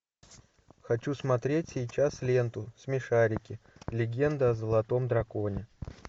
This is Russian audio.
хочу смотреть сейчас ленту смешарики легенда о золотом драконе